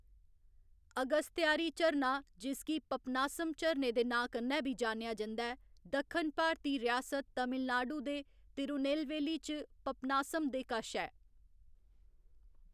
अगस्त्यारि झरना, जिसगी पपनासम झरने दे नांऽ कन्नै बी जानेआ जंदा ऐ, दक्खन भारती रियासत तमिलनाडु दे तिरुनेलवेली च पपनासम दे कश ऐ।